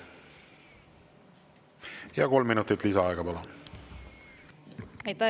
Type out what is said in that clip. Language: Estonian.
Ja kolm minutit lisaaega, palun!